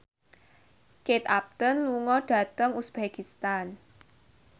Kate Upton lunga dhateng uzbekistan